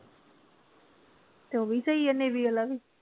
ਤੇ ਉਹ ਵੀ ਸਹੀ ਏ navy ਵਾਲਾ ਵੀ।